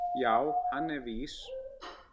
Já, hann er vís.